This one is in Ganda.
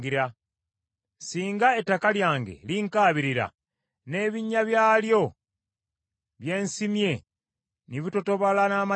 “Singa ettaka lyange linkaabirira, n’ebinnya byalyo bye nsimye ne bitotobala n’amaziga;